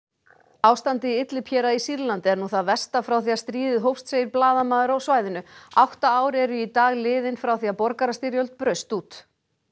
ástandið í Idlib héraði í Sýrlandi er nú það versta frá því að stríðið hófst segir blaðamaður á svæðinu átta ár eru í dag liðin frá því að borgarastyrjöld braust út